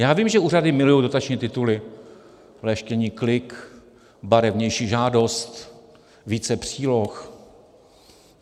Já vím, že úřady milují dotační tituly, leštění klik, barevnější žádost, více příloh.